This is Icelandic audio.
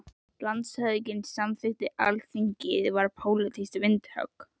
LANDSHÖFÐINGI: Samþykkt Alþingis var pólitískt vindhögg!